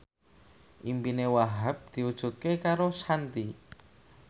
impine Wahhab diwujudke karo Shanti